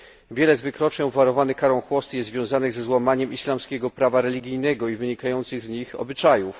Wiele z wykroczeń obwarowanych karą chłosty jest związanych ze złamaniem islamskiego prawa religijnego i wynikających z niego obyczajów.